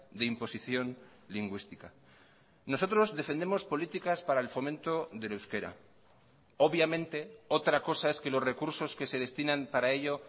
de imposición lingüística nosotros defendemos políticas para el fomento del euskera obviamente otra cosa es que los recursos que se destinan para ello